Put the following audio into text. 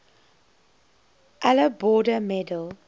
allan border medal